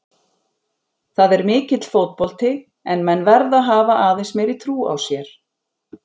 Það er mikill fótbolti en menn verða að hafa aðeins meiri trú á sér.